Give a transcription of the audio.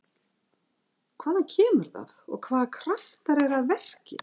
Hvaðan kemur það og hvaða kraftar eru að verki?